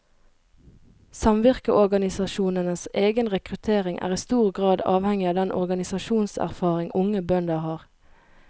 Samvirkeorganisasjonenes egen rekruttering er i stor grad avhengig av den organisasjonserfaring unge bønder har.